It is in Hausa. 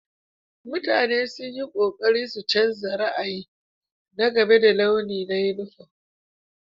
Mutane sun yi ƙoƙari su canza ra'ayi na game da launi na yunifom.